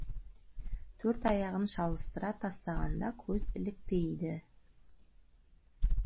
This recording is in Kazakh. төрт аяғын шалыстыра тастағанда көз ілікпейді